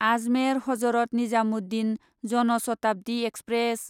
Ajmer Hazrat Nizamuddin Jan Shatabdi express